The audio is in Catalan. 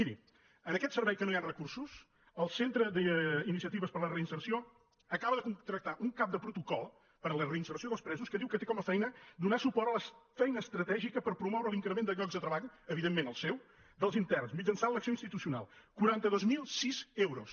miri en aquest servei que no hi han recursos el centre d’iniciatives per a la reinserció acaba de contractar un cap de protocol per a la reinserció dels presos que diu que té com a feina donar suport a la feina estratègica per promoure l’increment de llocs de treball evident·ment el seu dels interns mitjançant l’acció institucio·nal quaranta dos mil sis euros